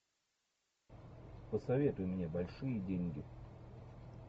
посоветуй мне большие деньги